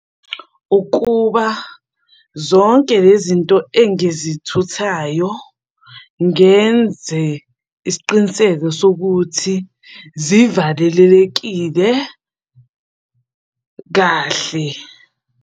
Ukuba zonke le zinto engizithuthayo ngenze isiqiniseko sokuthi zivalelekile kahle.